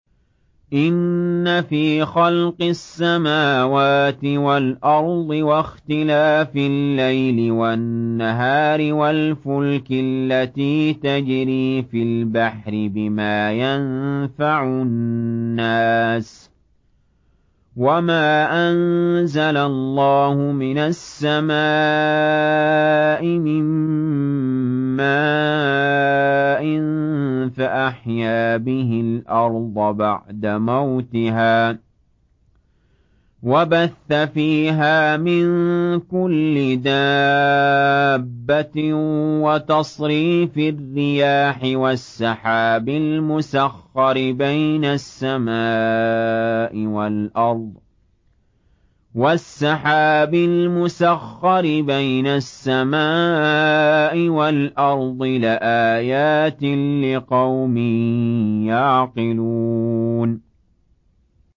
إِنَّ فِي خَلْقِ السَّمَاوَاتِ وَالْأَرْضِ وَاخْتِلَافِ اللَّيْلِ وَالنَّهَارِ وَالْفُلْكِ الَّتِي تَجْرِي فِي الْبَحْرِ بِمَا يَنفَعُ النَّاسَ وَمَا أَنزَلَ اللَّهُ مِنَ السَّمَاءِ مِن مَّاءٍ فَأَحْيَا بِهِ الْأَرْضَ بَعْدَ مَوْتِهَا وَبَثَّ فِيهَا مِن كُلِّ دَابَّةٍ وَتَصْرِيفِ الرِّيَاحِ وَالسَّحَابِ الْمُسَخَّرِ بَيْنَ السَّمَاءِ وَالْأَرْضِ لَآيَاتٍ لِّقَوْمٍ يَعْقِلُونَ